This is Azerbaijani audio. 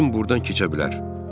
Cim burdan keçə bilər.